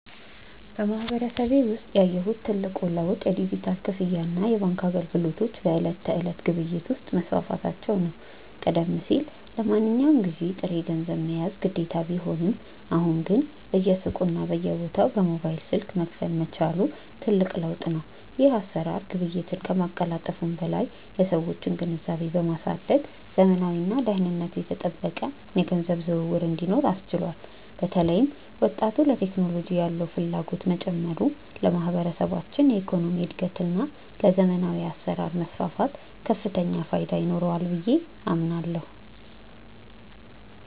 በማህበረሰቤ ውስጥ ያየሁት ትልቁ ለውጥ የዲጂታል ክፍያና የባንክ አገልግሎቶች በዕለት ተዕለት ግብይት ውስጥ መስፋፋታቸው ነው። ቀደም ሲል ለማንኛውም ግዢ ጥሬ ገንዘብ መያዝ ግዴታ ቢሆንም፣ አሁን ግን በየሱቁና በየቦታው በሞባይል ስልክ መክፈል መቻሉ ትልቅ ለውጥ ነው። ይህ አሰራር ግብይትን ከማቀላጠፉም በላይ የሰዎችን ግንዛቤ በማሳደግ ዘመናዊና ደህንነቱ የተጠበቀ የገንዘብ ዝውውር እንዲኖር አስችሏል። በተለይም ወጣቱ ለቴክኖሎጂ ያለው ፍላጎት መጨመሩ ለማህበረሰባችን የኢኮኖሚ እድገትና ለዘመናዊ አሰራር መስፋፋት ከፍተኛ ፋይዳ ይኖረዋል ብዬ አምናለሁ።